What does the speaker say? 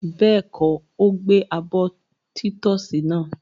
Bẹ́ẹ̀kọ́, ó gbẹ abọ́ títọ́sì náà.